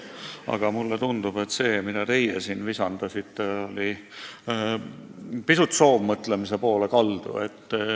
Aga mulle tundub, et see, mida teie siin visandasite, kaldub pisut soovmõtlemise valda.